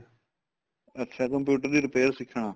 ਅੱਛਾ computer ਦੀ repair ਸਿੱਖਣਾ